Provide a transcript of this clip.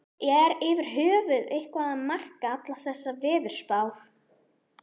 Er yfir höfuð eitthvað að marka allar þessar veðurspár?